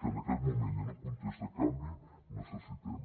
que en aquest moment i en un context de canvi necessitem